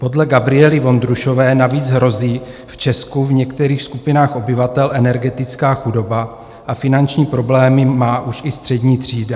Podle Gabriely Vondrušové navíc hrozí v Česku v některých skupinách obyvatel energetická chudoba a finanční problémy má už i střední třída.